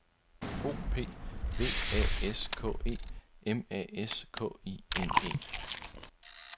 O P V A S K E M A S K I N E